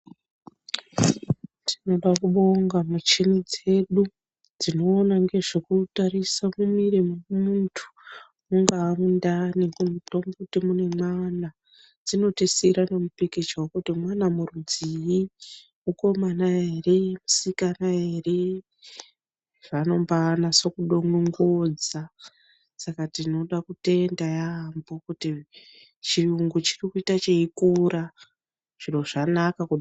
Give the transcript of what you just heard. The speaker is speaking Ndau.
Tinoda kubonga michini dzedu dzinoona ngezvekutarisa mumwiri mwemuntu, mungaa mundani kuti mune mwana, dzinotisira nemipicture wekuti mwana murudzii mukomana ere musikana ere, zvaanomba anatsodonongodza, saka tinoda kutenda yammho kuti chiyungu chirikuita cheikura, zviro zvanaka.